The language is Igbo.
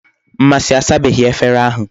Mmasi asabeghi efere ahu